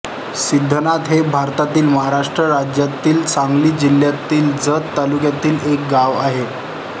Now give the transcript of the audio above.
सिद्धनाथ हे भारतातील महाराष्ट्र राज्यातील सांगली जिल्ह्यातील जत तालुक्यातील एक गाव आहे